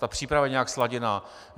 Ta příprava je nějak sladěná?